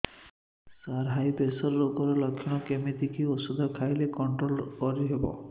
ସାର high pressure ରୋଗର ଲଖଣ କେମିତି କି ଓଷଧ ଖାଇଲେ କଂଟ୍ରୋଲ କରିହେବ